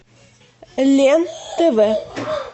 лен тв